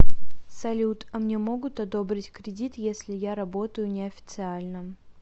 салют а мне могут одобрить кредит если я работаю не официально